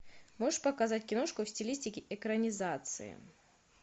можешь показать киношку в стилистике экранизации